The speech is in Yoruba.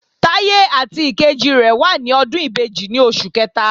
Táyé àti ìkejì rẹ̀ wà ní ọdún ìbejì ní oṣù kẹta